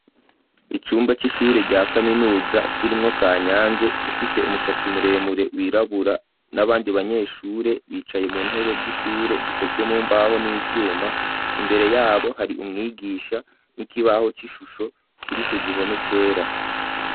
Icumba c'ishure rya kaminuza kirimwo Kanyange ufise umushatsi muremure wirabura, n'abandi banyeshure bicaye mu ntebe z'ishure zikozwe mumbaho n'ivyuma, imbere yabo hari umwigisha n'ikibaho c'ishusho kiri ku gihome cera.